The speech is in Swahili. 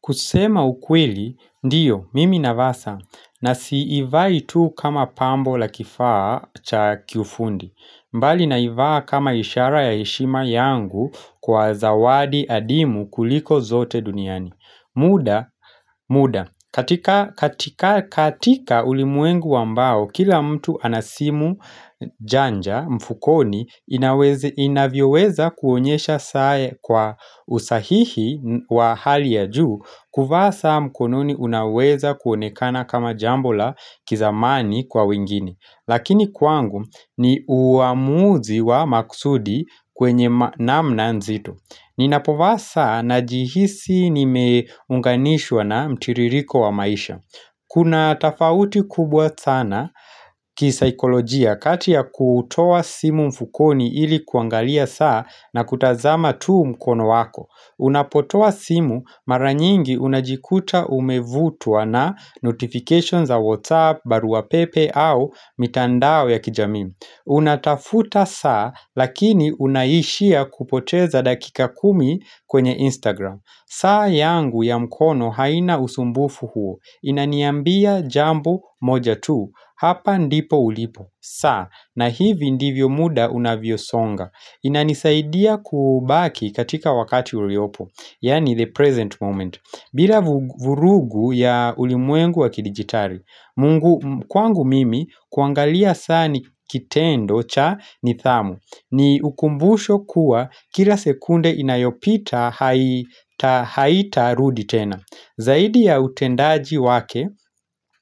Kusema ukweli, ndiyo, mimi navaa saa, na siivai tu kama pambo la kifaa cha kiufundi, mbali naivaa kama ishara ya heshima yangu kwa zawadi adimu kuliko zote duniani. Muda, muda. Katika katika ulimwengu ambao, kila mtu ana simu janja mfukoni inavyoweza kuonyesha saa kwa usahihi wa hali ya juu, kuvaa saa mkononi unaweza kuonekana kama jambo la kizamani kwa wengine. Lakini kwangu ni uamuzi wa maksudi kwenye namna nzito Ninapovaa saa najihisi nimeunganishwa na mtiririko wa maisha Kuna tofauti kubwa sana kisaikolojia kati ya kutoa simu mfukoni ili kuangalia saa na kutazama tu mkono wako Unapotoa simu mara nyingi unajikuta umevutwa na notifications za WhatsApp, barua pepe au mitandao ya kijamii. Unatafuta saa lakini unaishia kupoteza dakika kumi kwenye Instagram. Saa yangu ya mkono haina usumbufu huo. Inaniambia jambo moja tu. Hapa ndipo ulipo. Saa na hivi ndivyo muda unavyosonga. Inanisaidia kubaki katika wakati uliopo Yaani the present moment bila vurugu ya ulimwengu wa kidigitari Mungu kwangu mimi kuangalia saa ni kitendo cha nidhamu ni ukumbusho kuwa kila sekunde inayopita haitarudi tena Zaidi ya utendaji wake